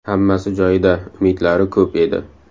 Hammasi joyida, umidlari ko‘p edi.